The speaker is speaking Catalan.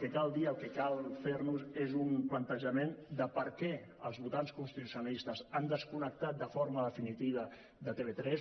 que cal dir el que cal fer nos és un plantejament de per què els votants constitucionalistes han desconnectat de forma definitiva de tv3